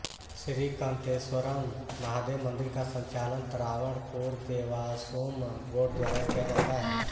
श्रीकंतेश्वरम् महादेव मंदिर का संचालन त्रावणकोर देवास्वोम बोर्ड द्वारा किया जाता है